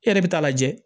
E yɛrɛ bɛ taa lajɛ